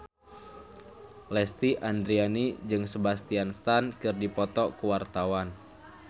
Lesti Andryani jeung Sebastian Stan keur dipoto ku wartawan